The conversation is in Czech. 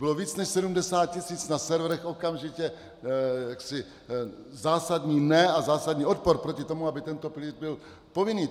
Bylo více než 70 tis. na serverech okamžitě zásadní ne a zásadní odpor proti tomu, aby tento pilíř byl povinný.